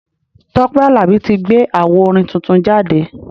Tọ́pẹ́ Àlàbí tí gbé awo orin tuntun jáde.